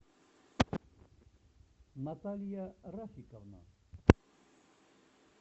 наталья рафиковна